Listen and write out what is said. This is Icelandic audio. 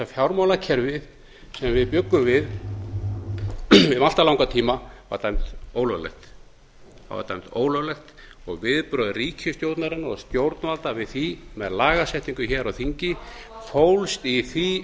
fjármálakerfið sem við bjuggum við í allt of langan tíma var dæmt ólöglegt það var dæmt ólöglegt og viðbrögð ríkisstjórnarinnar og stjórnvalda við því með lagasetningu hér á þingi fólst í því